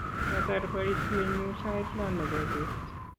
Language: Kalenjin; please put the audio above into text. kiatar boisienyu sait lo nebo beet